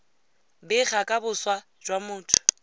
bega ka boswa jwa motho